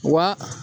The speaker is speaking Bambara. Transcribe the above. Wa